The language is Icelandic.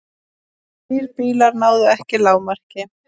Þrír bílar náðu ekki lágmarki